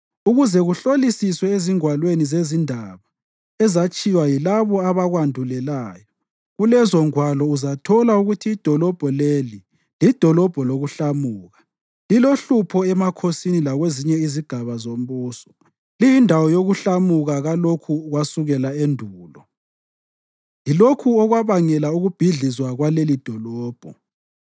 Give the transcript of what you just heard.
ukuze kuhlolisiswe ezingwalweni zezindaba ezatshiywa yilabo abakwandulelayo. Kulezongwalo uzathola ukuthi idolobho leli lidolobho lokuhlamuka, lilohlupho emakhosini lakwezinye izigaba zombuso, liyindawo yokuhlamuka kulokhu kwasukela endulo. Yilokho okwabangela ukubhidlizwa kwalelidolobho.